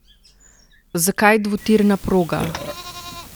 Zakaj dvotirna proga?